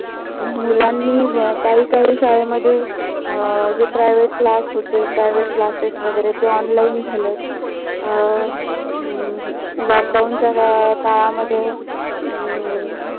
मुलांनी काही काही शाळेमध्ये अं जे privet class होते. privet classes वगैरे ते online झालेत. अं हम्म lockdown च्या काळामध्ये हम्म